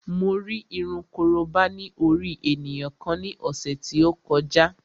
Mo rí irun korobá ní orí ènìyàn kan ní ọ̀sẹ̀ tí ó kọjá